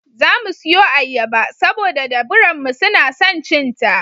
Za mu siyo ayyaba, saboda da biranmu suna son cin ta.